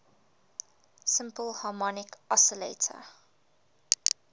simple harmonic oscillator